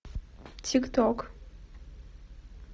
тик ток